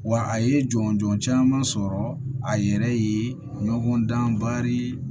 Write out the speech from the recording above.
Wa a ye jɔnjɔn caman sɔrɔ a yɛrɛ ye ɲɔgɔn dan bari